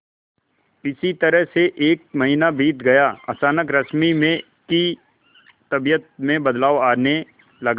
इसी तरह से एक महीना बीत गया अचानक रश्मि में की तबीयत में बदलाव आने लगा